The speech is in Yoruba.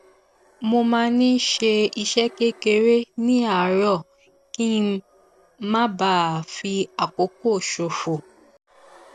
mo máa ń ṣe iṣẹ kékeré ní àárọ kí n má bà a fi àkókò ṣòfò